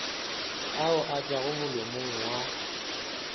ao a tšwago molomong wa